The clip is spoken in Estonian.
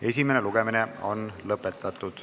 Esimene lugemine on lõpetatud.